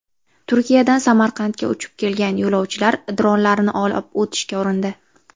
Turkiyadan Samarqandga uchib kelgan yo‘lovchilar dronlarni olib o‘tishga urindi.